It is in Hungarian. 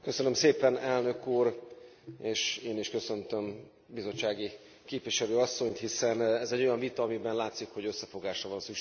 Elnök Úr, én is köszöntöm bizottsági képviselő asszonyt, hiszen ez egy olyan vita, amiben látszik, hogy összefogásra van szükségünk.